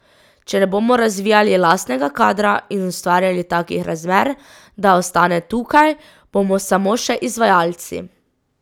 Če ne bomo razvijali lastnega kadra in ustvarjali takih razmer, da ostane tukaj, bomo samo še izvajalci.